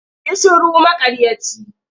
Yi shiru maƙaryaci!